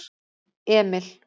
Emil